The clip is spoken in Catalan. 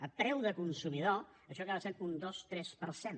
a preu de consumidor això acaba sent un dos tres per cent